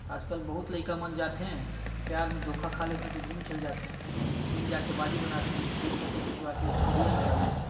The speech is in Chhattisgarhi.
आजकल बहुत लईका मन जाथे प्यार मे धोखा खा थे तो जिम चल जाथे जिम जाके बॉडी बनाथे फिर फोटो खिचवाके मीडिया मे डालथे ।